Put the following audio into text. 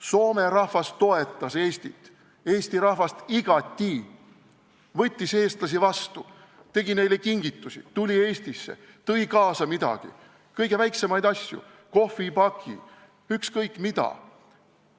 Soome rahvas toetas Eestit, eesti rahvast igati, võttis eestlasi vastu, tegi neile kingitusi, tuli Eestisse, tõi midagi kaasa – kõige väiksemaidki asju, kohvipakke, ükskõik mida.